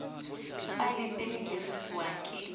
faela tse di dirisiwang ke